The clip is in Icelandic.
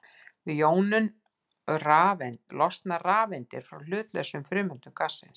Við jónun losna rafeindir frá hlutlausum frumeindum gassins.